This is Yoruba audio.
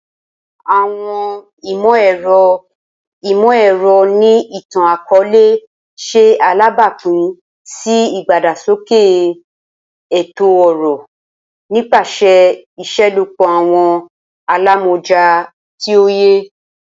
Awọn imọ-ẹrọ imọ-ẹrọ ni itan-akọọlẹ ṣe alabapin si idagbasoke eto-ọrọ nipasẹ iṣelọpọ awọn alamọja ti oye.